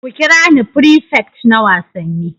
Ku kira ni prefect na Wasanni.